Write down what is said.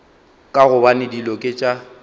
ka gobane dilo ke tša